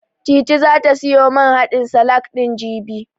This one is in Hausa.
Titi zata siyo man haɗin salak ɗin, jibi.